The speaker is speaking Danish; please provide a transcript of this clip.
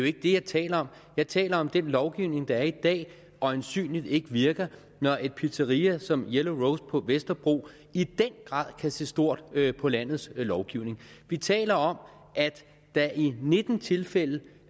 ikke det jeg taler om jeg taler om at den lovgivning der er i dag øjensynligt ikke virker når et pizzeria som yellow rose på vesterbro i den grad kan se stort på landets lovgivning vi taler om at der i nitten tilfælde